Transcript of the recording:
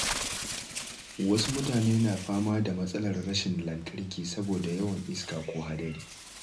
Wasu mutane na fama da matsalar rashin lantarki saboda yawan iska ko hadari.